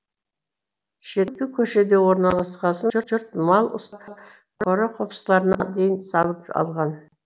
шеткі көшеде орналасқасын жұрт мал ұстап қора қопсыларына дейін салып алған